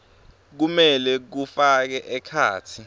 kumele kufake ekhatsi